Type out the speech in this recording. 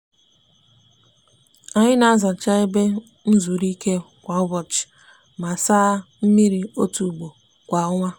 anyi n'azacha ebe nzuruike kwa ubochi ma saa ya mmiri otu ugbo kwa onwa.